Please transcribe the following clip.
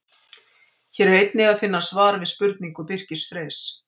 Hér er einnig að finna svar við spurningu Birkis Freys: